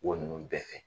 Wo nunnu bɛɛ fɛ